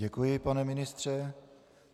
Děkuji, pane ministře.